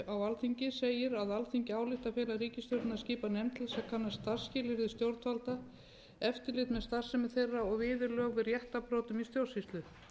á alþingi segir að alþingi álykti að fela ríkisstjórninni að skipa nefnd til að kanna starfsskilyrði stjórnvalda eftirlit með starfsemi þeirra og viðurlög við réttarbrotum í stjórnsýslu